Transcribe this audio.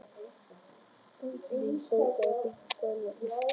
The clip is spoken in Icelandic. Bergný, bókaðu hring í golf á föstudaginn.